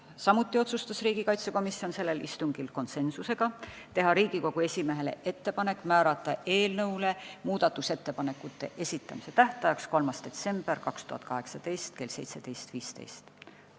Samuti otsustas riigikaitsekomisjon sellel istungil konsensusega teha Riigikogu esimehele ettepaneku määrata eelnõu muudatusettepanekute esitamise tähtajaks 3. detsember 2018 kell 17.15.